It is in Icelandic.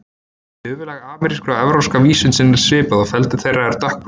Höfuðlag ameríska og evrópska vísundsins er svipað og feldur þeirra er dökkbrúnn.